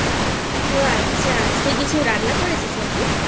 ও আচ্ছা আজকে কিছু রান্না করেছিস নাকি?